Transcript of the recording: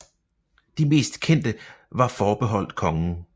De mest kendte var forbeholdt kongen